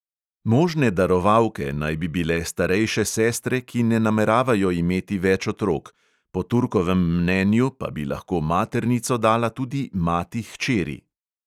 Možne darovalke naj bi bile starejše sestre, ki ne nameravajo imeti več otrok, po turkovem mnenju pa bi lahko maternico dala tudi mati hčeri.